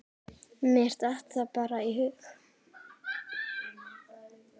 Mér datt það bara í hug.